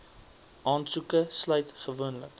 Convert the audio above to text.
aansoeke sluit gewoonlik